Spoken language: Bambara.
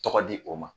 Tɔgɔ di o ma